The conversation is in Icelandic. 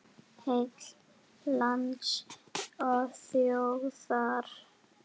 Heill lands og þjóðar.